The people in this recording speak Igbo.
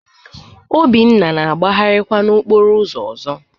Obinna na-agbagharịkwa n'okporo ụzọ ọzọ